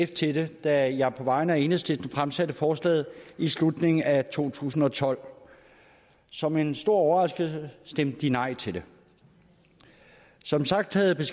til det da jeg på vegne af enhedslisten fremsatte forslaget i slutningen af 2012 som en stor overraskelse stemte de nej til det som sagt havde